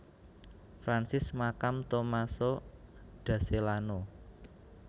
Francis makam Tommaso da Celano